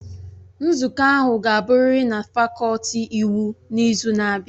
Nzukọ ahụ ga-abụrịrị na fakọlti iwu n'izu na-abịa!